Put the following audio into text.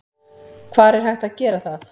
Hvar er hægt að gera það?